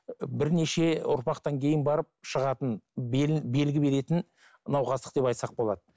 і бірнеше ұрпақтан кейін барып шығатын белгі беретін науқастық деп айтсақ болады